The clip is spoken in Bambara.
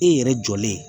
E yɛrɛ jɔlen